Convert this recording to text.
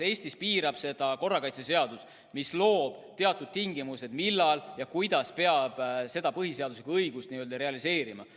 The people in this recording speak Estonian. Eestis piirab seda korrakaitseseadus, mis sätestab teatud tingimused, millal ja kuidas saab seda põhiseaduslikku õigust n-ö realiseerida.